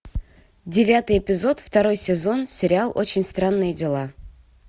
девятый эпизод второй сезон сериал очень странные дела